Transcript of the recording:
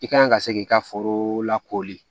I kan ka se k'i ka foro lakori